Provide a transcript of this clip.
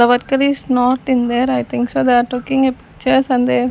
The worker is not in there I think so they are taking a pictures and there --